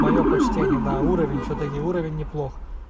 моё почтение да уровень всё-таки уровень неплохо